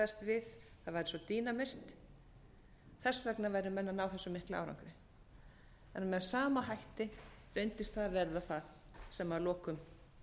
við það væri eins og dýnamit þess vegna væru menn að ná þessum mikla árangri en með sama hætti reyndist það verða það sem að lokum